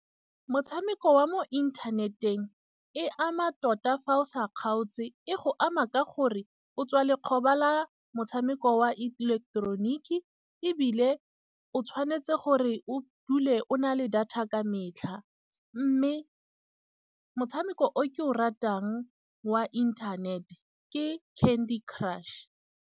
Motshameko wa mo inthaneteng e ama tota fa o sa kgaotse. E go ama ka gore o tswa lekgoba la motshameko wa ileketeroniki, ebile o tshwanetse gore o dule o na le data ka metlha. Mme motshameko o ke o ratang wa inthanete ke Candy Crush.